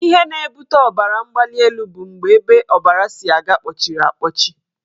Ihe na-ebute ọbaramgbalịelu bụ mgbe ebe ọbara si aga kpọchiri akpọchi